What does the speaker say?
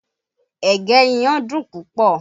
Ẹ̀gẹ́ iyán dùn púpọ̀